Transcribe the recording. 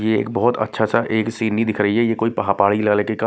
ये बहुत अच्छा सा एक सीनरी नहीं दिख रही है ये कोई पहाड़ी इलाके का--